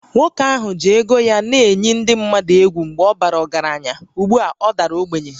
Nwoke ahụ ji ego ya na-eyi ndị mmadụ egwu mgbe ọ bara ọgaranya, ugbu a ọ dara ogbenye